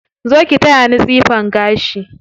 Zo ki taya ni tsifan gashi.